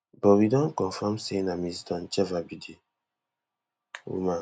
but we don confam say na ms doncheva be di woman